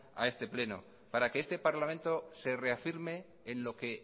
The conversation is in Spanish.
a este pleno para que este parlamento se reafirme en lo que